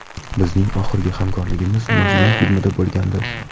Bizning oxirgi hamkorligimiz ‘Majnun’ filmida bo‘lgandi.